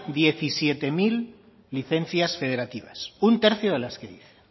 diecisiete mil licencias federativas un tercio de las que dice